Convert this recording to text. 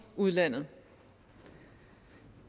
udlandet